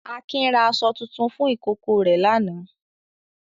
Akin ra aṣọ tuntun fún ìkókó rẹ̀ lánàá.